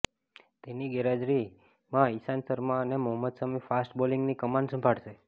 તેની ગેરહાજરીમાં ઈશાંત શર્મા અને મોહમ્મદ શમી ફાસ્ટ બોલિંગની કમાન સંભાળશે